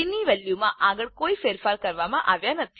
એ ની વેલ્યુમાં આગળ કોઈ ફેરફારો કરવામાં આવ્યા નથી